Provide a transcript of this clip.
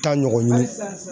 Ta ɲɔgɔn ɲini.